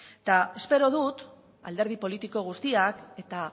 eta espero dut alderdi politiko guztiak eta